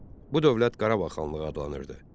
Bu dövlət Qarabağ xanlığı adlanırdı.